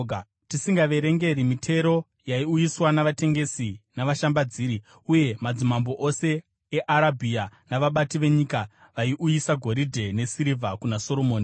tisingaverengi mitero yaiuyiswa navatengesi navashambadziri. Uye madzimambo ose eArabhia navabati venyika vaiuyisa goridhe nesirivha kuna Soromoni.